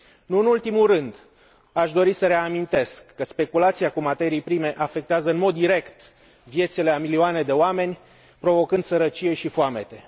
Nu în ultimul rând, aș dori să reamintesc că speculația cu materii prime afectează în mod direct viețile a milioane de oameni provocând sărăcie și foamete.